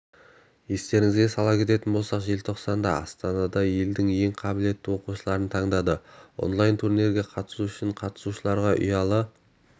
естеріңізге сала кететін болсақ желтоқсанда астанада елдің ең қабілетті оқушыларын таңдады онлайн-турнирге қатысу үшін қатысушыларға ұялы